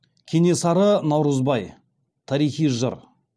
кенесары наурызбай тарихи жыр